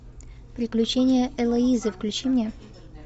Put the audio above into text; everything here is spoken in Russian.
приключения элоизы включи мне